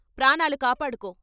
ప్రాణాలు కాపాడుకో.